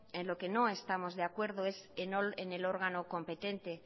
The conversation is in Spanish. en lo que no estamos de acuerdo es en el órgano competente